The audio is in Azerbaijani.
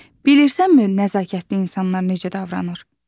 Bilirsənmi nəzakətli insan necə davranır?